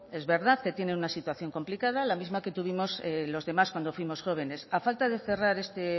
es verdad que tienen una situación complicada la misma que tuvimos los demás cuando fuimos jóvenes a falta de cerrar este